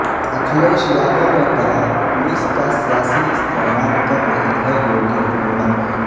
اکھلیش یادو نے کہا پولیس کا سیاسی استعمال کر رہی ہے یوگی حکومت